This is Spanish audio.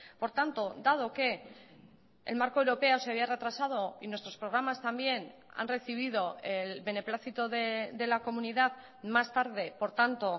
por tanto dado que el marco europeo se había retrasado y nuestros programas también han recibido el beneplácito de la comunidad más tarde por tanto